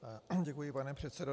Děkuji, pane předsedo.